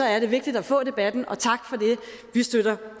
er vigtigt at få debatten og tak for det vi støtter